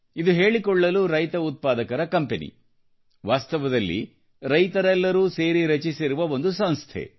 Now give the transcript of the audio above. ಇದು ಹೇಳಿಕೊಳ್ಳಲು ರೈತ ಉತ್ಪಾದಕರ ಕಂಪನಿ ವಾಸ್ತವದಲ್ಲಿ ರೈತರೆಲ್ಲರೂ ಸೇರಿ ರಚಿಸಿರುವ ಒಂದು ಸಂಸ್ಥೆ